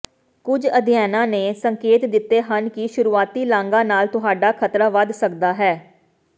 ਕੁਝ ਅਧਿਐਨਾਂ ਨੇ ਸੰਕੇਤ ਦਿੱਤੇ ਹਨ ਕਿ ਸ਼ੁਰੂਆਤੀ ਲਾਗਾਂ ਨਾਲ ਤੁਹਾਡਾ ਖਤਰਾ ਵਧ ਸਕਦਾ ਹੈ